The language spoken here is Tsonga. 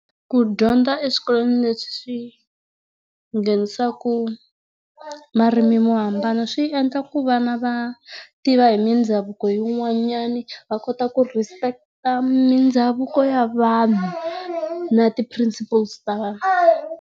Nu dyondza eswikolweni leswi swi nghenisaka marimi mo hambana swi endla ku vana va tiva hi mindhavuko yin'wanana va kota ku respect mindhavuko ya vanhu na ti principles ta vanhu.